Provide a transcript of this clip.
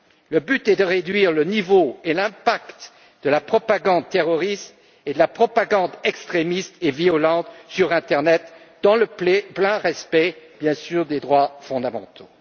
Le but est de réduire l'ampleur et l'effet de la propagande terroriste et de la propagande extrémiste et violente sur l'internet, dans le plein respect, bien sûr, des droits fondamentaux.